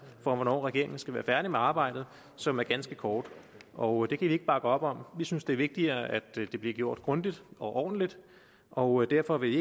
for hvornår regeringen skal være færdig med arbejdet som er ganske kort og det kan vi ikke bakke op om vi synes det er vigtigere at det bliver gjort grundigt og ordentligt og derfor vil